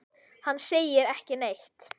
Hann segir ekki neitt.